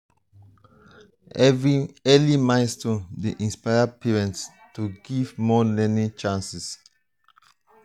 early milestones dey inspire parents to give more learning chances.